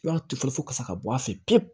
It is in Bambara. I b'a tufɔ kasa ka bɔ a fɛ pewu